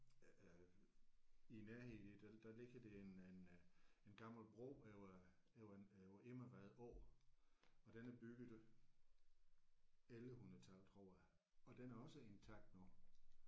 Øh i nærheden der der ligger en en øh en gammel bro over over en over Immervad Å og den er bygget i 1100 tallet tror jeg og den er også intakt nu